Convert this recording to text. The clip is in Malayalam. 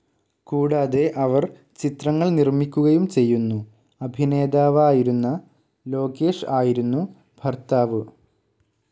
കൂടാതെ അവർ ചിത്രങ്ങൾ നിർമിക്കുകയും ചെയ്യുന്നു, അഭിനേതാവായിരുന്ന ലോകേഷ് ആയിരുന്നു ഭർത്താവു.